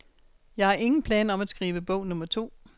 Jeg har ingen planer om at skrive bog nummer to.